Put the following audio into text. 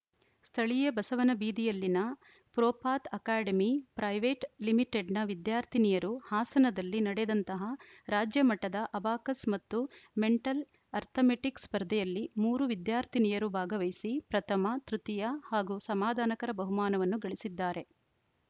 ಸ್ಥಳೀಯ ಬಸವನ ಬೀದಿಯಲ್ಲಿನ ಪ್ರೋಪಾತ್‌ ಅಕಾಡೆಮಿ ಪ್ರೈವೇಟ್‌ ಲಿಮಿಟೆಡ್‌ನ ವಿದ್ಯಾರ್ಥಿನಿಯರು ಹಾಸನದಲ್ಲಿ ನಡೆದಂತಹ ರಾಜ್ಯ ಮಟ್ಟದ ಅಬಾಕಸ್‌ ಮತ್ತು ಮೆಂಟಲ್‌ ಅರ್ಥಮೆಟಿಕ್‌ ಸ್ಪರ್ಧೆಯಲ್ಲಿ ಮೂರು ವಿದ್ಯಾರ್ಥಿನಿಯರು ಭಾಗವಹಿಸಿ ಪ್ರಥಮ ತೃತೀಯ ಹಾಗೂ ಸಮಾಧಾನಕರ ಬಹುಮಾನವನ್ನು ಗಳಿಸಿದ್ದಾರೆ